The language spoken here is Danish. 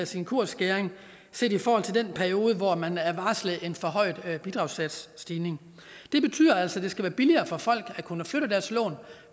sin kursskæring set i forhold til den periode hvor man er varslet en forhøjet bidragssatsstigning det betyder altså at det skal være billigere for folk at kunne flytte deres lån